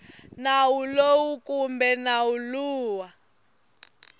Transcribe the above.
nawu lowu kumbe nawu lowu